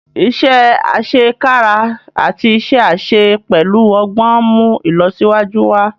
iṣé asekara àti iṣé àṣẹ pẹlú ogbón nmú ilọsiwaju wá.